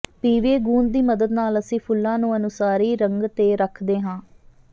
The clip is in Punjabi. ਪੀਵੀਏ ਗੂੰਦ ਦੀ ਮਦਦ ਨਾਲ ਅਸੀਂ ਫੁੱਲਾਂ ਨੂੰ ਅਨੁਸਾਰੀ ਰੰਗ ਤੇ ਰੱਖਦੇ ਹਾਂ